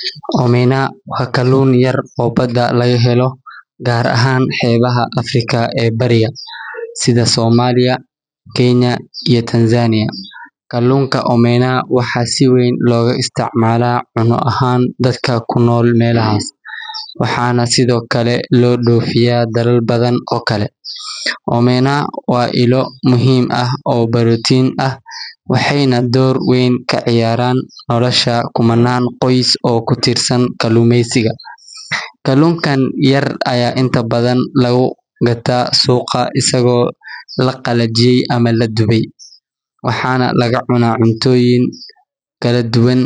Xeebaha waa meelaha biyaha badda iyo dhulka ay isugu yimaadaan, waxayna door muhiim ah ka ciyaaraan nolosha dad badan oo adduunka ku nool. Xeebuhu waa ilaha muhiimka ah ee kalluumeysiga, dalxiiska, iyo ganacsiga, waxaana ku yaalla dekedo badan oo muhiim ah oo lagu soo dejiyo lana dhoofiyo alaabo kala duwan.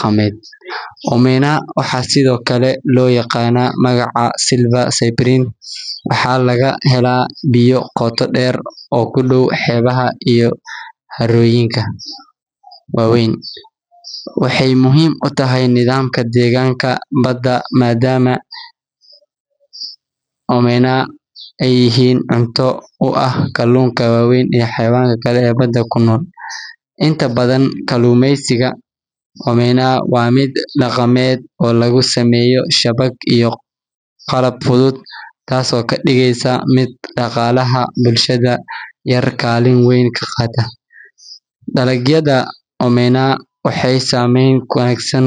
Xeebaha waxay sidoo kale leeyihiin doorkooda muhiimka ah ee ilaalinta deegaanka, maadaama ay yihiin meelaha ay ku nool yihiin noocyo badan oo kala duwan oo dhir iyo xayawaan ah, kuwaas oo badanaa ku tiirsan biyaha iyo ciidda xeebaha. Xeebaha Soomaaliya waxay ka mid yihiin kuwa ugu dheer adduunka, waxayna dhererkoodu gaarayaa in ka badan shan kun iyo laba boqol kiiloomitir, taas oo ka dhigaysa il dhaqaale iyo dhaqan muhiim ah oo dalka u ah. Dadka ku nool xeebaha Soomaaliya waxay ku tiirsan yihiin kalluumeysiga, taasoo qayb weyn ka qaadata noloshooda iyo dhaqaalaha guud. Sidoo kale, xeebaha waxay yihiin meelaha loo dalxiis tago si loo.